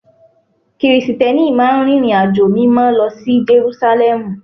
Krìsìtẹ́nì máa ń rìnrìnàjò Mímọ́ lọ sí Jerúsálẹ́mù